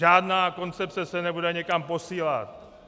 Žádná koncepce se nebude někam posílat.